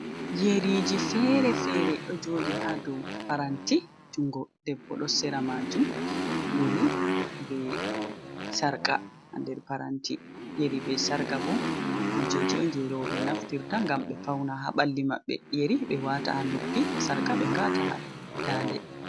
Yeriji fere-fere ɗo jodi ha ɗow paranti. Jungo ɗebbo ɗo sera majum. Yeri be sarqa ha nɗer paranti. Yeri be sarqa bo kujeji on je robe naftirta ngam be fauna ha balli mabbe. Yeri be wata ha noppi sarka be gata ha nɗanɗe.